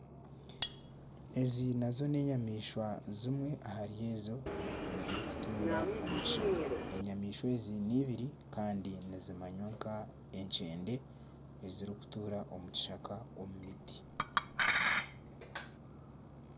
Ezi nazo n'enyamaishwa zimwe ahari ezo eziri kutuura omu kishaka enyamaishwa ezi neibiri Kandi nizimamya nka enkyende ezirikutuura omu kishaka omu miti.